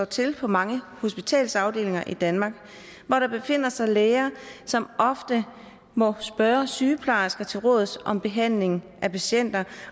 til på mange hospitalsafdelinger i danmark hvor der befinder sig læger som ofte må spørge sygeplejersker til råds om behandlingen af patienter